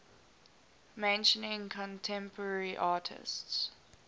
mentioning contemporary artists